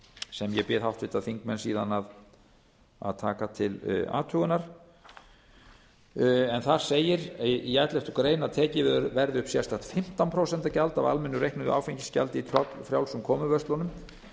sem ég bið háttvirta þingmenn síðan að taka til athugunar þar segir í elleftu grein að tekið verði upp sérstakt fimmtán prósent gjald af almennu reiknuðu áfengisgjaldi í tollfrjálsum komuverslunum